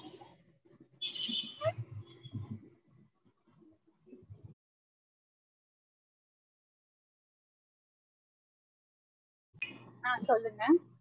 ஆஹ் சொல்லுங்க